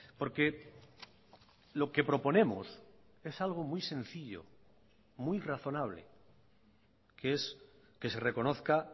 porque lo que proponemos es algo muy sencillo muy razonable que es que se reconozca